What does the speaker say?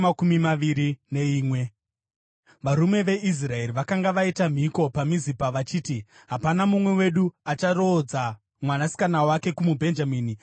Varume veIsraeri vakanga vaita mhiko paMizipa vachiti: “Hapana mumwe wedu acharoodza mwanasikana wake kumuBhenjamini.”